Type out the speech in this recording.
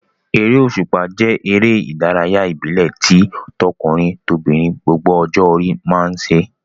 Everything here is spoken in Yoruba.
Eré òṣùpá jẹ́ eré ìdárayá ìbílẹ̀ tí tọkùnrin-tobìnrin gbogbo ọjọ́ orí máa ń ṣe.